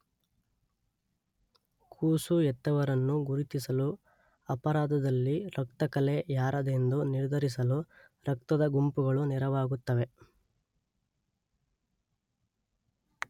ಕೂಸು ಹೆತ್ತವರನ್ನು ಗುರುತಿಸಲೂ ಅಪರಾಧದಲ್ಲಿ ರಕ್ತಕಲೆ ಯಾರದೆಂದು ನಿರ್ಧರಿಸಲೂ ರಕ್ತದ ಗುಂಪುಗಳು ನೆರವಾಗುತ್ತವೆ.